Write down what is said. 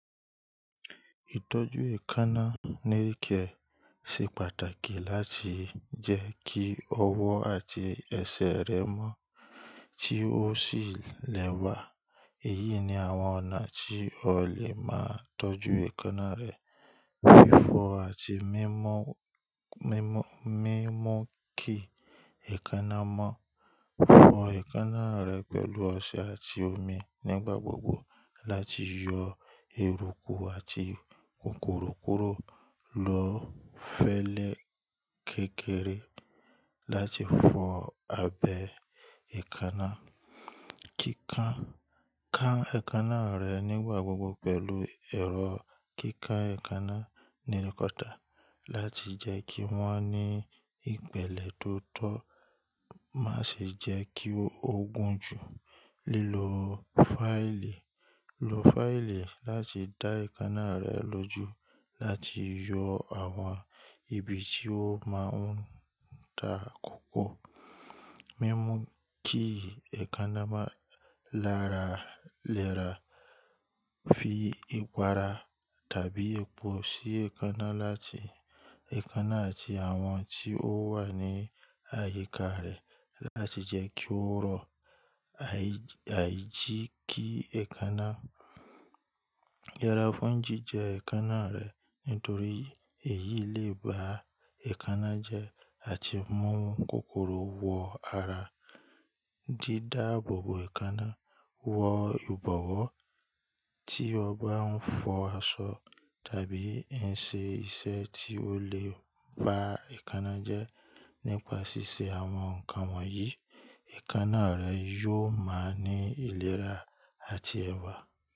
Ìtọ́jú èékánná nail care ṣe pàtàkì láti jẹ́ kí ọwọ́ àti ẹsẹ̀ rẹ mọ́ tí ó sì lẹ́wà. Èyí ni àwọn ọ̀nà tí o lè máa tọ́jú èékánná rẹ. Fífọ̀ àti mímọ̀, mímọ̀, mímọ̀ kí èékánná mọ. Fọ èékánná rẹ pẹ̀lú ọṣẹ àti omi nígbà gbogbo láti yọ eruku àti kòkòrò kúrò. Lo fẹlẹ kékeré láti fọ abẹ èékánná. Kíkán, ká èékánná rẹ nígbà gbogbo pẹ̀lú ẹ̀rọ kíká èékánná nail cutter láti jẹ́ kí wọ́n ní ìpèlẹ̀ tó tọ́. Má ṣe jẹ́ kí ó gun jù. Lílo fáìlì, lo fáìlì láti dá èékánná rẹ lójú láti yọ àwọn ibi tí ó máa ń ta kókó. Mímú kí èékánná máa lara léra. Fi ìpara tàbí epo sí èékánná láti èékánná àti àwọn tí ó wà ní àyíká rẹ̀ láti jẹ́ kí ó rọ̀. Àìjì kí èékánná. Yẹra fún jíjẹ èékánná rẹ̀ nítorí èyí lè ba èékánná jẹ́ àti mú kòkòrò wọ ara. Jí dáàbòbò èékánná wọ ìbọ̀wọ́ tí o bá ń fọ aṣọ tàbí ń ṣe iṣẹ́ tí ó lè ba èékánná jẹ́. Nípàṣíṣẹ́ àwọn nǹkan wọ̀nyí, èékánná rẹ yóò máa ní ìlera àti ẹwà.